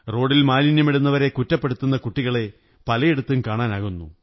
റോഡിൽ മാലിന്യമിടുന്നവരെ കുറ്റപ്പെടുത്തുന്ന കുട്ടികളെ പലയിടത്തും കണാനാകുന്നു